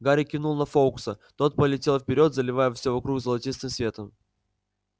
гарри кивнул на фоукса тот полетел вперёд заливая все вокруг золотистым светом